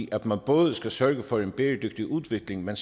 i at man både skal sørge for en bæredygtig udvikling men